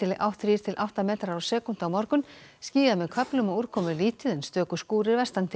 átt þrír til átta metrar á sekúndu á morgun skýjað með köflum og úrkomulítið en stöku skúrir vestan til